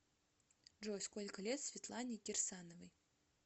джой сколько лет светлане кирсановой